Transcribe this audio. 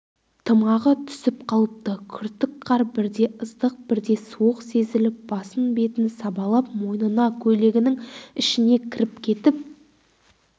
тымағы түсіп қалыпты күртік қар бірде ыстық бірде суық сезіліп басын бетін сабалап мойнына көйлегінің ішіне кіріп кетіп